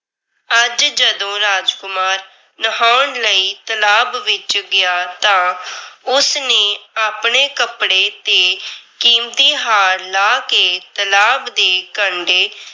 ਅੱਜ ਜਦੋਂ ਰਾਜਕੁਮਾਰ ਨਹਾਉਣ ਲਈ ਤਲਾਬ ਵਿੱਚ ਗਿਆ ਤਾਂ ਉਸ ਨੇ ਆਪਣੇ ਕੱਪੜੇ ਤੇ ਕੀਮਤੀ ਹਾਰ ਲਾਹ ਕੇ ਤਲਾਬ ਦੇ ਕੰਢੇ